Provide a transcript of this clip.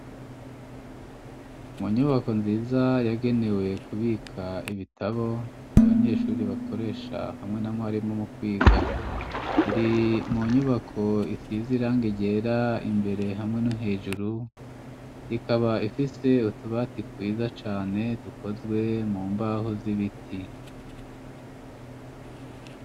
Mu nyubako nziza yagenewe kubika ibitabo, abanyeshuri bakoresha hamwe na mwarimu mu kwiga, iri mu nyubako isize irangi ryera ,imbere hamwe no hejuru ,ikaba ifise utubati twiza cane dukozwe mu mbaho z'ibiti.